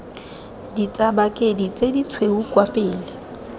ditsabakedi tse ditshweu kwa pele